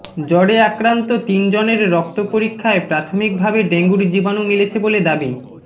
জ্বরে আক্রান্ত তিনজনের রক্ত পরীক্ষায় প্রাথমিক ভাবে ডেঙ্গুর জীবাণু মিলেছে বলে দাবি